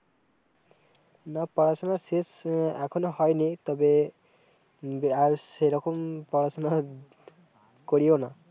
না পড়া-শুনা শেষ-স, এখনো হয়নি, তবে, দিয়ে-আর সেইরকম পড়া শুনা করিও না